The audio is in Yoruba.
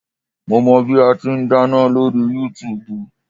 Mo mọ bí ati n dáná lórí Yúutùbù